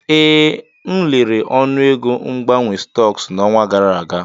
Ee, m lere ọnụego mgbanwe stọks n'ọnwa gara aga.